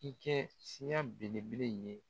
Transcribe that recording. K'i kɛ siyan belebele in ɲɛ.